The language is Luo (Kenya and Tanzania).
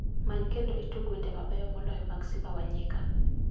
Many kendo itug wende mabeyo moloyo mag simba wa nyika